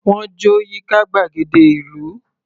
Wọ́n jó yíká gbàgede ìlú.